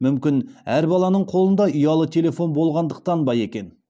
мүмкін әр баланың қолында ұялы телефон болғандықтан ба екен